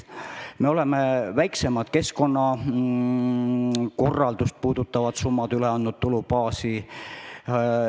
Me oleme andnud väiksemad keskkonnakorraldust puudutavad summad üle tulubaasi.